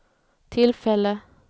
tillfälle